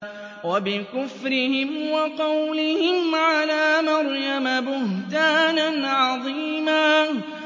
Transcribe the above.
وَبِكُفْرِهِمْ وَقَوْلِهِمْ عَلَىٰ مَرْيَمَ بُهْتَانًا عَظِيمًا